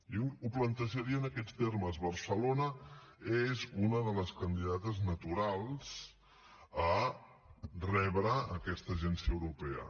jo ho plantejaria en aquests termes barcelona és una de les candidates naturals a rebre aquesta agència europea